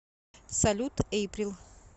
салют эйприл